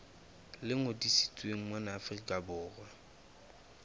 le ngodisitsweng mona afrika borwa